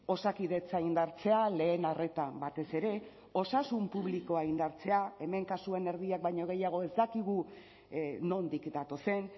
osakidetza indartzea lehen arreta batez ere osasun publikoa indartzea hemen kasuen erdiak baino gehiago ez dakigu nondik datozen